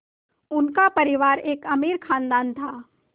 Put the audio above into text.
उनका परिवार एक अमीर ख़ानदान था